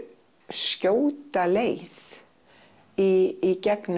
skjóta leið í gegnum